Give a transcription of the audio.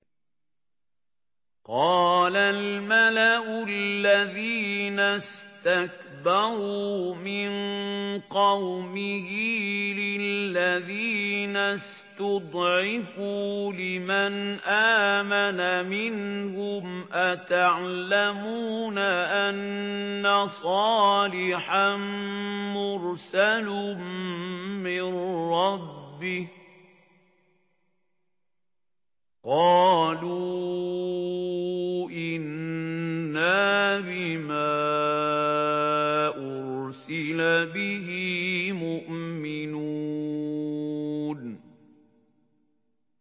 قَالَ الْمَلَأُ الَّذِينَ اسْتَكْبَرُوا مِن قَوْمِهِ لِلَّذِينَ اسْتُضْعِفُوا لِمَنْ آمَنَ مِنْهُمْ أَتَعْلَمُونَ أَنَّ صَالِحًا مُّرْسَلٌ مِّن رَّبِّهِ ۚ قَالُوا إِنَّا بِمَا أُرْسِلَ بِهِ مُؤْمِنُونَ